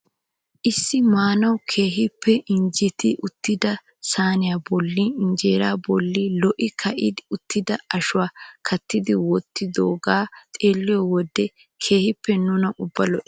Issi maanawu keehipe injettidi uttida sayniyaa bollan injeeraa bolli lo"i ka'idi uttida ashuwaa kattidi wottidogee xeelliyoo wode keehippe nuna ubbaa lo"ees.